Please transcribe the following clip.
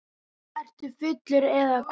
Ertu fullur eða hvað?